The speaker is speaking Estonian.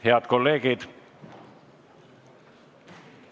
Head kolleegid!